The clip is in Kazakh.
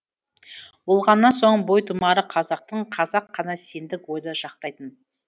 болғаннан соң бойтұмары қазақтың қазақ қана сендік ойды жақтайтын